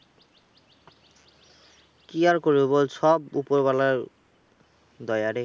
কি আর করবি বল? সব উপরওলার দয়া রে?